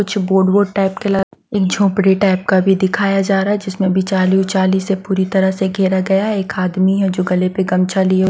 कुछ बोर्ड वोड टाएप के एक झोपड़ी टाएप का भी दिखाया जा रहा है जिसमें बिचाली-उचाली से पूरी तरह से घेरा गया एक आदमी है जो गले पे गमछा लिए --